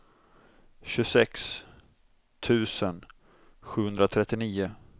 tjugosex tusen sjuhundratrettionio